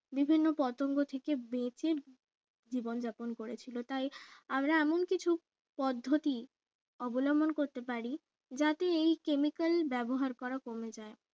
বিভিন্ন পতঙ্গ থেকে বেঁচে জীবন যাপন করেছিল তাই আমরা এমন কিছু পদ্ধতি অবলম্বন করতে পারি যাতে এই chemical ব্যবহার করা কমে যায়